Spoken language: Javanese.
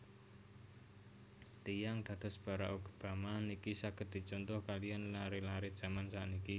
Tiyang kados Barrack Obama niki saget dicontoh kaliyan lare lare jaman sakniki